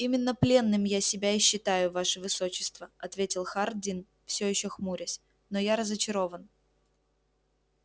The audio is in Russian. именно пленным я себя и считаю ваше высочество ответил хардин всё ещё хмурясь но я разочарован